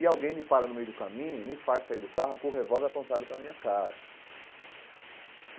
E alguém me para no meio do caminho, me faz sair do carro com o revólver apontado para a minha cara e.